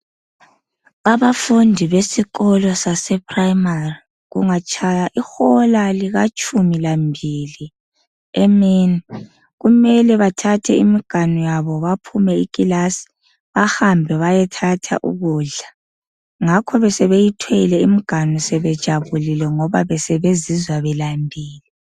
Abafundi be phrayimari kungatshaya ihola letshumi lambili emini kuyamele bethathe imganu yabo bephume eklasini behambe beyethatha ukudla ngakho besebeyithwele imiganu yabo bezizwa befuna ukudla ngoba besebe lambili.